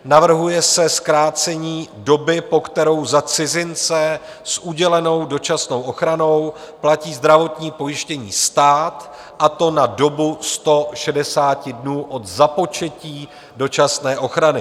Navrhuje se zkrácení doby, po kterou za cizince s udělenou dočasnou ochranou platí zdravotní pojištění stát, a to na dobu 160 dnů od započetí dočasné ochrany.